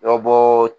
Dɔbɔ